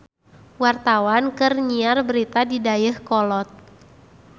Wartawan keur nyiar berita di Dayeuhkolot